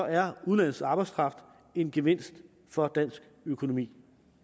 er udenlandsk arbejdskraft en gevinst for dansk økonomi